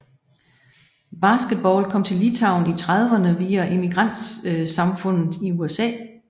Basketball kom til Litauen i trediverne via imigrantsamfundet i USA